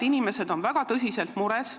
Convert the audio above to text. Inimesed on väga tõsiselt mures.